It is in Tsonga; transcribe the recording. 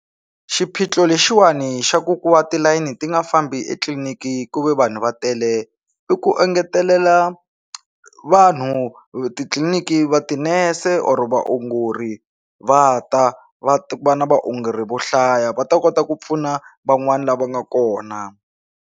Xiphiqo lexiwani xa ku ku va tilayini ti nga fambi etliliniki kuve vanhu va tele i ku engetelela vanhu titliliniki va tinese or vaongori va ta va va na vaongori vo hlaya va ta kota ku pfuna van'wani lava nga kona.